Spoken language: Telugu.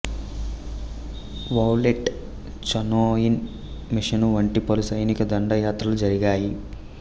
వౌలేట్ చానోయిన్ మిషను వంటి పలు సైనిక దండయాత్రలు జరిగాయి